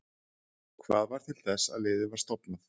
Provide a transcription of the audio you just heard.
Hvað varð til þess að liðið var stofnað?